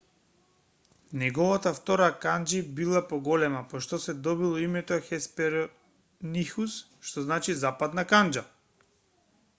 неговата втора канџи била поголема по што се добило името хесперонихус што значи западна канџа